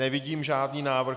Nevidím žádný návrh.